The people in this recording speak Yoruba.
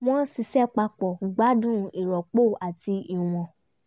wọ́n ṣiṣẹ́ papọ̀ gbádùn ìròpọ̀ àti ìwọ̀n